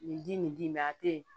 Nin di nin din ma a te yen